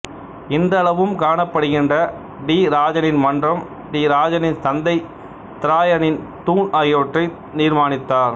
இன்றளவிலும் காணப்படுகின்ற டிராஜானின் மன்றம் டிராஜானின் சந்தை திராயானின் தூண் ஆகியவற்றை நிர்மாணித்தார்